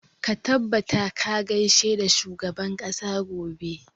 Ka tabbata ka gaishe da shugaban ƙasa gobe!